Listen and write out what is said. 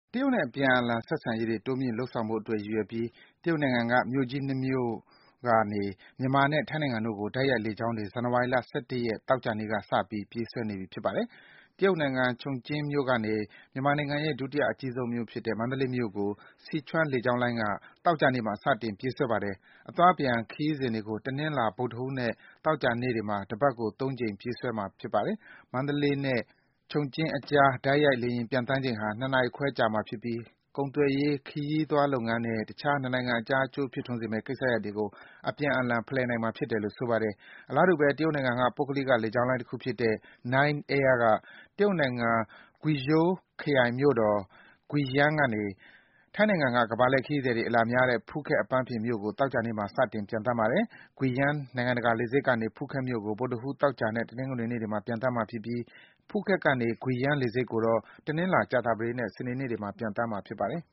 တရုတ်နဲ့ အပြန်အလှန် ဆက်ဆံရေးတွေ တိုးမြှင့်လုပ်ဆောင်ဖို့အတွက် ရည်ရွယ်ပြီး တရုတ်နိုင်ငံက မြို့ကြီး ၂ မြို့က မြန်မာနဲ့ ထိုင်းနိုင်ငံတို့ကို တိုက်ရိုက် လေကြောင်းလိုင်းတွေ ဇန်နဝါရီ ၁၁ ရက်၊ သောကြာနေ့က စပြီး ပြေးဆွဲနေပြီ ဖြစ်ပါတယ်။ တရုတ်နိုင်ငံ Chongqing မြို့ကနေ မြန်မာနိုင်ငံရဲ့ ဒုတိယအကြီးဆုံးမြို့ဖြစ်တဲ့ မန္တလေးမြို့ကို Sichuan လေကြောင်းလိုင်းက သောကြာနေ့မှာ စတင် ပြေးဆွဲပါတယ်။ အသွား၊ အပြန် ခရီးစဉ်တွေကို တနင်္လာ၊ ဗုဒ္ဓဟူးနဲ့ သောကြာနေ့တွေမှာ တပတ်ကို ၃ စီ အသွားအပြန် ပြေးဆွဲမှာ ဖြစ်ပါတယ်။ မန္တလေးနဲ့ Chongqing အကြားက တိုက်ရိုက် လေယာဉ်ပျံသန်းချိန်ဟာ ၂ နာရီခွဲကြာမှာဖြစ်ပြီး ကုန်သွယ်ရေး၊ ခရီးသွားလုပ်ငန်းနဲ့ တခြား နှစ်နိုင်ငံအကြား အကျိုးဖြစ်ထွန်းစေမယ့် ကိစ္စရပ်တွေကို အပြန်အလှန် ဖလှယ်နိုင်မှာ ဖြစ်တယ်လို့ ဆိုပါတယ်။ အလားတူပဲ တရုတ်နိုင်ငံက ပုဂ္ဂလိက လေကြောင်းလိုင်းတခုဖြစ်တဲ့ 9 Air က တရုတ်နိုင်ငံ၊ Guizhou ခရိုင်မြို့တော် Guiyang ကနေ ထိုင်းနိုင်ငံက ကမ္ဘာလှည့်ခရီးသည်တွေ အလာများတဲ့ ဖူးခက်အပန်းဖြေမြို့ကို သောကြာနေ့မှာ စတင် ပျံသန်းပါတယ်။ Guiyang နိုင်ငံတကာ လေဆိပ်ကနေ ဖူးခက်မြို့ကို ဗုဒ္ဓဟူး၊ သောကြာနဲ့ တနင်္ဂနွေနေ့တွေမှာ ပျံသန်းမှာဖြစ်ပြီး ဖူးခက်ကနေ Guiyang လေဆိပ်ကိုတော့ တနင်္လာ၊ ကြာသပတေးနဲ့ စနေနေ့တွေမှာ ပျံသန်းမှာ ဖြစ်ပါတယ်